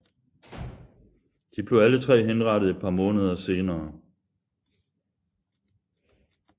De blev alle tre henrettet et par måneder senere